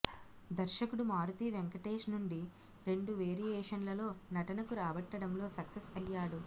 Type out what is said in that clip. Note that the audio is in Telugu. దర్శకుడు మారుతి వెంకటేష్ నుండి రెండు వెరియేషన్లలో నటనకు రాబట్టడంలో సక్సెస్ అయ్యాడు